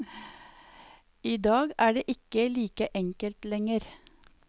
I dag er det ikke like enkelt lenger.